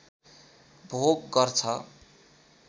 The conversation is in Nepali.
भोग गर्छ